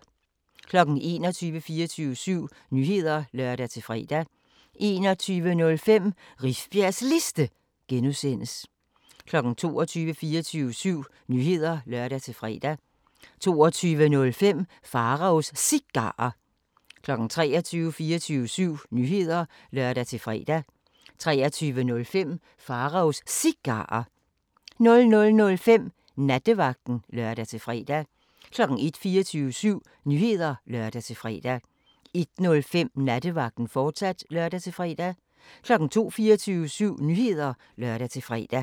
21:00: 24syv Nyheder (lør-fre) 21:05: Rifbjergs Liste (G) 22:00: 24syv Nyheder (lør-fre) 22:05: Pharaos Cigarer 23:00: 24syv Nyheder (lør-fre) 23:05: Pharaos Cigarer 00:05: Nattevagten (lør-fre) 01:00: 24syv Nyheder (lør-fre) 01:05: Nattevagten, fortsat (lør-fre) 02:00: 24syv Nyheder (lør-fre)